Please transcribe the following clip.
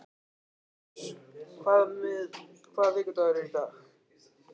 Filippus, hvaða vikudagur er í dag?